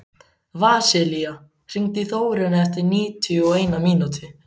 Vasilia, hringdu í Þórönnu eftir níutíu og eina mínútur.